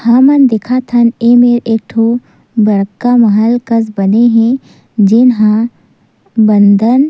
हमन देखत हन ए मेर एक ठो बड़का महल कस बने हे जेन हा बंदन--